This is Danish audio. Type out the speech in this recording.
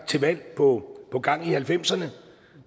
til valg på gang i halvfemserne